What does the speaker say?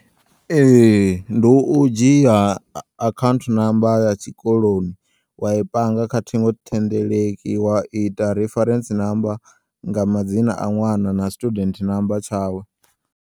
Ee, ndi u dzhiya akhauntu number ya tshikoloni wayi panga kha thingothendeleki waita reference number nga madzina a ṅwana na student number tshawe.